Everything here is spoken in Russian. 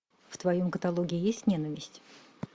в твоем каталоге есть ненависть